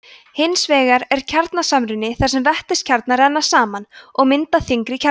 hins vegar er kjarnasamruni þar sem vetniskjarnar renna saman og mynda þyngri kjarna